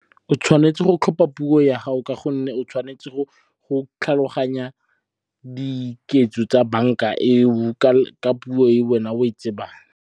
O tshwanetse go tlhopha puo ya gago ka gonne o tshwanetse go tlhaloganya diketso tsa banka eo ka puo e wena oe tsebang.